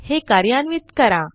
हे कार्यान्वित करा